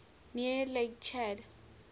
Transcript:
near lake chad